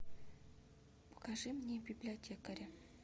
покажи мне библиотекаря